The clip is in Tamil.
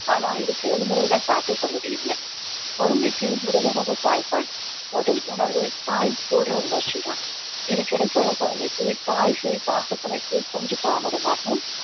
ஆனா இது செயல்முறையில சாத்தியப்படுறது இல்லை குழந்தைக்கு முதலுணவு தாய்ப்பால் முதல் உணர்வு தாய் தொடுற உணர்ச்சிதான் இது கிடைக்காத குழந்தைக்கு தாய் சேய் பாசப்பிணைப்பு கொஞ்சம் தாமதமாகும்